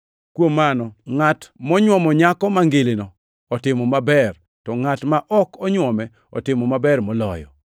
Kuom mano, ngʼat monyuomo nyako mangilino otimo maber, to ngʼat ma ok onywome otimo maber moloyo.